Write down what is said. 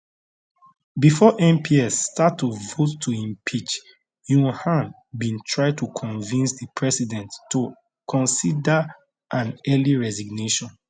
before mps start to vote to impeach yoon han bin try to convince di president to consider an early resignation